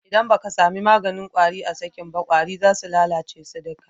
ldan ba ka sa maganin kwari a sukin ba, kwari za su lallace su duka.